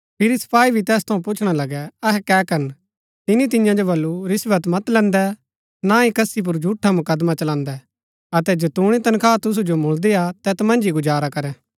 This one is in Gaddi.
फिरी सपाई भी तैस थऊँ पुछणा लगै अहै कै करन तिनी तियां जो बल्लू रिश्‍वत मत लैन्दै ना ही कसी पुर झूठा मुकदमा चलान्‍दै अतै जतूणी तनखा तुसु जो मुलदीआ तैत मन्ज ही गुजारा करै